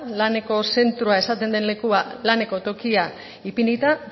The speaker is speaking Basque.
laneko zentroa esaten den lekuan laneko tokia ipinita